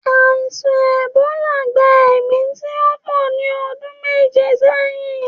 Àìsàn èbólà gba èmí tíó po ní ọdún méje sẹ́yìn